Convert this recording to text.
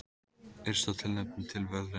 Yrsa tilnefnd til verðlauna